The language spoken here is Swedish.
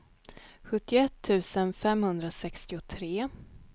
sjuttioett tusen femhundrasextiotre